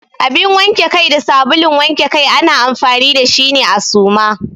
Abin wanke Kai da sabulun wanke Kai ana amfani da shi ne a Suma.